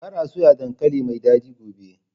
Kar a soya dankali mai dadi gobe!